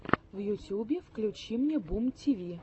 в ютюбе включи мне бумтиви